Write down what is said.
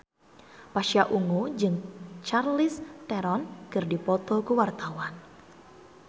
Pasha Ungu jeung Charlize Theron keur dipoto ku wartawan